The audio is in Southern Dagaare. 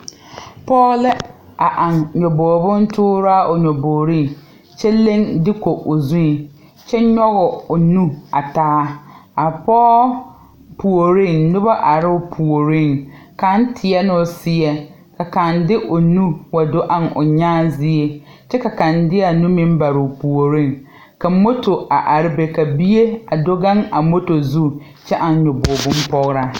Pɔge la a are eŋ nyabogebontooraa o nyabogriŋ kyɛ leŋ duku o zuiŋ kyɛ nyɔg o nu a taa a pɔge puoriŋ noba arɛɛ o puoriŋ kaŋ teɛɛ o seɛŋ ka kaŋ de o nu wa do eŋ o nyaa zie kyɛ ka kaŋ de a nu meŋ baroo puoriŋ ka moto a are be ka bie a do gaŋ a moto zu kyɛ eŋ a nyabogbontooraa.